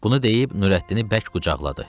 Bunu deyib Nurəddini bərk qucaqladı.